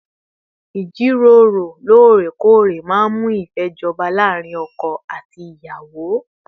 Ìjíròrò lóòrèkóòrè máa ń mú ìfẹ́ jọba láàárín ọkọ àti ìyàwó